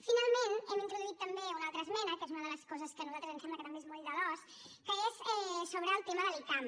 finalment hem introduït també una altra esmena que és una de les coses que a nosaltres ens sembla que també és moll de l’os que és sobre el tema de l’icam